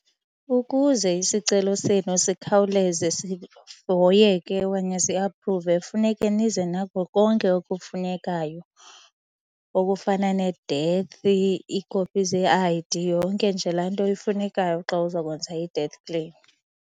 Ukuze isicelo senu sikhawuleze sihoyeke okanye siaphruve funeke nize nako konke okufunekayo okufana nee-death, iikopi zee-I_D, yonke nje laa nto ifunekayo xa uzakwenza i-death claim.